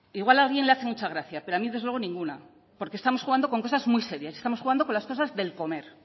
igual a alguien le hace mucha gracia pero a mí desde luego ninguna porque estamos con cosas muy serias y estamos jugando con las cosas del comer